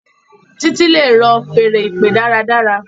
Titi le rọ Fèèrè ìpè dára dára.